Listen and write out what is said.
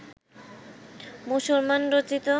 মুসলমান রচিত